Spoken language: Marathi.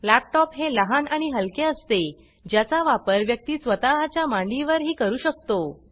लॅपटॉप हे लहान आणि हलके असते ज्याचा वापर व्यक्ती स्वतः च्या मांडीवर ही करू शकतो